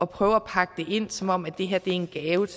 prøve at pakke det ind som om det her er en gave